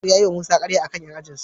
Nasir ya yiwa Musa karya a kan 'yan ajinsu.